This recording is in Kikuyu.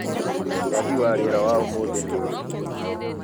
Ũrathi wa rĩera wa ũmũthĩ nĩ ũrĩkũ?